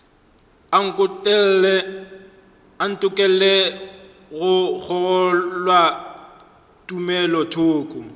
a ntokolle go kgolwa tumelothoko